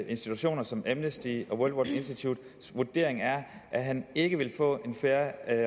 institutioner som amnesty og institutes vurdering er at han ikke vil få en fair